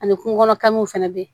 Ani kungo kɔnɔ kanw fɛnɛ be yen